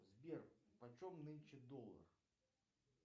сбер по чем нынче доллар